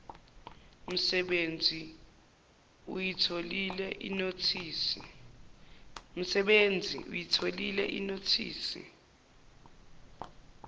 msebenzisi uyitholile inothisi